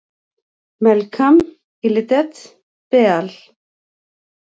Melkam Yelidet Beaal!